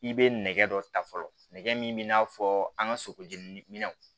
I bɛ nɛgɛ dɔ ta fɔlɔ nɛgɛ min bɛ n'a fɔ an ka sogo jenini minɛnw